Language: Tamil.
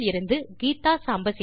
பதிவு செய்து நன்றி கூறி விடைபெறுவது